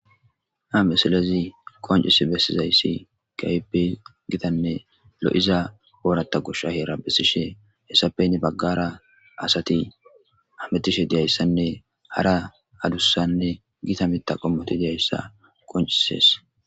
Hamisalezi qoncis bessizayssi gaype gidanne lo'iza ooratta gusha heera bessishe hessapene baggara asati ametishe diyayssanne hara adussanne gita mita qommoti diyayssa qoncises.